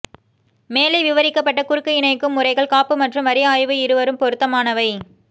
மேலே விவரிக்கப்பட்ட குறுக்கு இணைக்கும் முறைகள் காப்பு மற்றும் வரி ஆய்வு இருவரும் பொருத்தமானவை